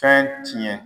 Fɛn tiɲɛ